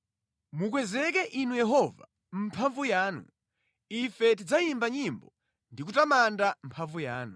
Mukwezeke Inu Yehova mʼmphamvu yanu, ife tidzayimba nyimbo ndi kutamanda mphamvu yanu.